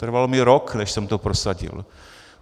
Trvalo mi rok, než jsem to prosadil.